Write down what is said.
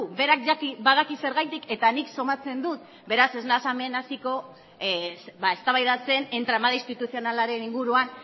berak badaki zergatik eta nik somatzen dut beraz ez nahiz hemen entramado institucionalaren inguruan